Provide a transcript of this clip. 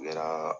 Yɛrɛ